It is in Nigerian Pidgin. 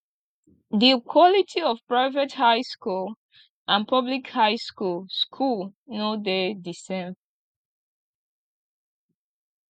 di quality of private high school and public high school school no de di same